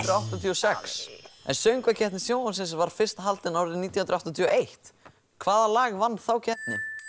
áttatíu og sex en Söngvakeppni sjónvarpsins var fyrst haldin árið nítján hundruð áttatíu og eitt hvaða lag vann þá keppni